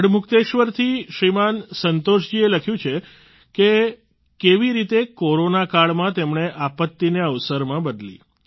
ગઢમુક્તેશ્વરથી શ્રીમાન સંતોષ જીએ લખ્યું છે કે કેવી રીતે કોરોના કાળમાં તેમણે આપત્તિને અવસરમાં બદલી